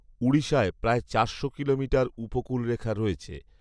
ঊডিষায় প্রায় চারশো কিলোমিটার উপকূলরেখা রয়েছে